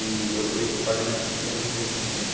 E o esse pagamento a gente tinha recebido recentemente.